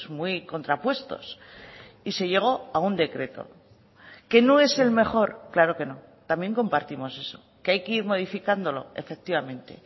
muy contrapuestos y se llegó a un decreto que no es el mejor claro que no también compartimos eso que hay que ir modificándolo efectivamente